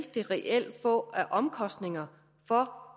det reelt vil få af omkostninger for